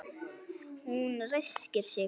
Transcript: Hún ræskir sig.